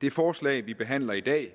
det forslag vi behandler i dag